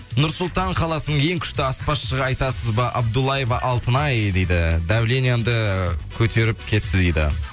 нұрсұлтан қаласының ең күшті аспазшыға айтасыз ба абдулаева алтынай дейді давлениемді көтеріп кетті дейді